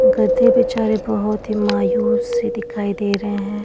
गधे बिचारे बहुत ही मायूस से दिखाई दे रहे है --